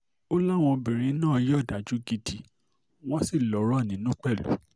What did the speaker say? ó láwọn obìnrin náà ya òdájú gidi wọ́n sì lọ́rọ̀ nínú pẹ̀lú